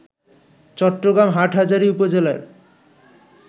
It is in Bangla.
চট্টগ্রাম হাটহাজারী উপজেলার